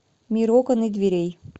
мир окон и дверей